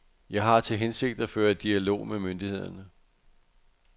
Jeg har til hensigt at føre dialog med myndighederne.